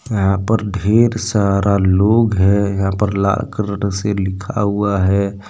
यहां पर ढेर सारा लोग हैं यहां पर लाल कलर से लिखा हुआ है।